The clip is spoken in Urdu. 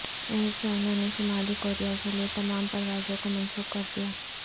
ایئر چائنا نے شمالی کوریا کے لئے تمام پروازوں کو منسوخ کر دیا